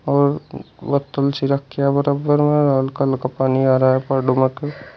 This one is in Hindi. और पत्थल सी रख्या बराबर में हल्का हल्का पानी आ रहा है पहाड़ों --